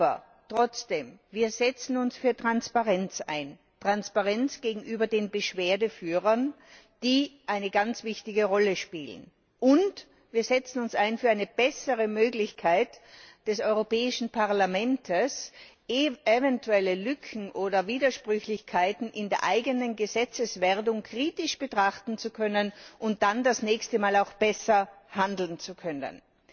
Aber trotzdem Wir setzen uns für Transparenz ein Transparenz gegenüber den Beschwerdeführern, die eine ganz wichtige Rolle spielen, und wir setzen uns ein für eine bessere Möglichkeit des Europäischen Parlaments, eventuelle Lücken oder Widersprüchlichkeiten in der eigenen Gesetzeswerdung kritisch betrachten zu können und dann das nächste Mal auch besser handeln zu können.